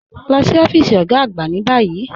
Lọ sí ọfiísì ogá àgbà ni bayí.